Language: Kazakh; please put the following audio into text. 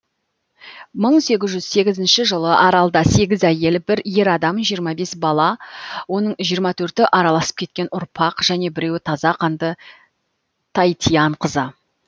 мың сегіз жүз сегізінші жылы аралда сегіз әйел бір ер адам жиырма бес бала оның жиырма төрті араласып кеткен ұрпақ және біреуі таза қанды таитян қызы